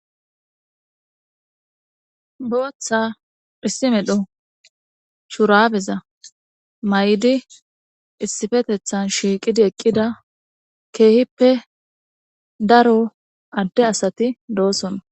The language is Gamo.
bootha dhisimedho churabeza may7di issifetethan shiiqidi eqqida keehippe daro adde asati doosona